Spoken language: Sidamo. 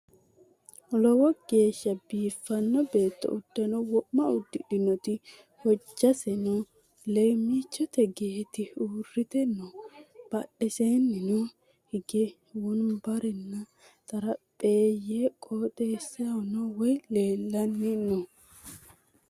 Lowo geeshsha biiffino beetto udanno wo'ma udidhinoti hojjaseno leemmichote geeti uurrite no badheseennino hige wonbarranna xarapheeyye qooxessahono wayi leellani no